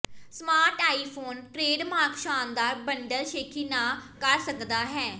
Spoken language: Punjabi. ਸਮਾਰਟ ਆਈਫੋਨ ਟ੍ਰੇਡਮਾਰਕ ਸ਼ਾਨਦਾਰ ਬੰਡਲ ਸ਼ੇਖੀ ਨਾ ਕਰ ਸਕਦਾ ਹੈ